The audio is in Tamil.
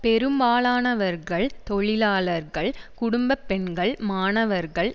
பெரும்பாலானவர்கள் தொழிலாளர்கள் குடும்ப பெண்கள் மாணவர்கள்